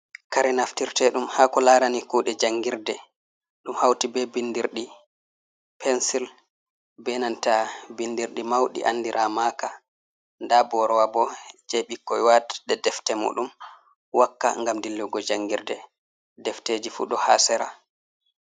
Kare naftirtedum hako larani kude jangirde, ɗum hauti be binɗirɗi pensil be nanta binɗirɗi mauɗi andira maka, nda borowa bo je bikkon watde defte muɗum wakka ngam dillugo jangirde defteji fu ɗo hasera.